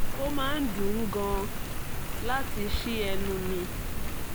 ó máa ń dùn ún gan-an láti ṣí ẹnu mi